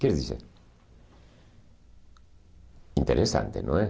Quer dizer, interessante, não é?